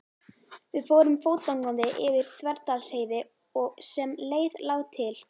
Við fórum fótgangandi yfir Þverdalsheiði og sem leið lá til